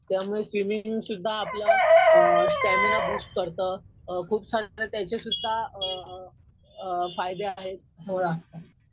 त्यामुळे स्विमिंग सुध्दा आपला स्टॅमिना बूस्ट करतं. खूप सारे त्याचेसुध्दा फायदे आहेत मला असं वाटतं.